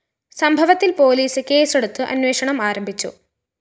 സംഭവത്തില്‍ പോലീസ് കേസെടുത്ത് അന്വേഷണം ആരംഭിച്ചു